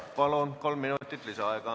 Palun, kolm minutit lisaaega!